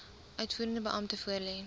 uitvoerende beampte voorlê